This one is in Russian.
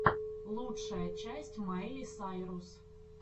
лучшая часть майли сайрус